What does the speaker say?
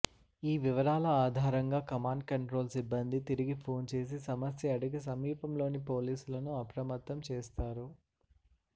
ఈ వివరాల ఆధారంగా కమాండ్ కంట్రోల్ సిబ్బంది తిరిగి ఫోన్ చేసి సమస్య అడిగి సమీపంలోని పోలీసులను అప్రమత్తం చేస్తారు